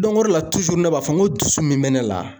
ore la ne b'a fɔ n ko dusu min bɛ ne la.